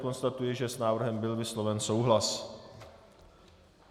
Konstatuji, že s návrhem byl vysloven souhlas.